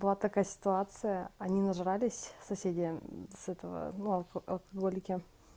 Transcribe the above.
была такая ситуация они нажрались соседи с этого ну алкоголики